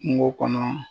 Kungo kɔnɔ